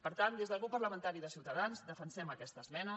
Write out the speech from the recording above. per tant des del grup parlamentari de ciutadans defensem aquesta esmena